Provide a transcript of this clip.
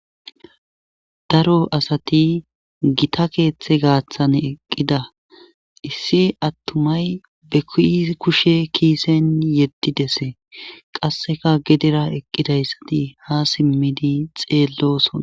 daro asati gita keeththe gaaththan eqqida issi attumay be kushe kiisen yeddidese qasseka gedera eqqidayssati ha simmidi xeellosona